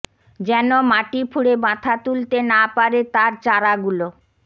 যেন মাটি ফুঁড়ে মাথা তুলতে না পারে তার চারাগুলো